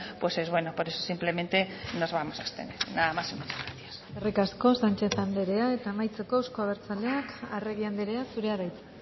es bueno por eso simplemente nos vamos a abstener nada más y muchas gracias eskerrik asko sánchez andrea eta amaitzeko euzko abertzaleak arregi andrea zurea da hitza